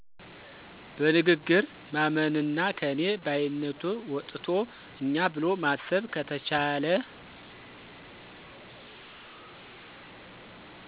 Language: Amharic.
በንግግር ማመንና ከኔ ባይነት ወጥቶ እኛ ብሎ ማሰብ ከተቻለ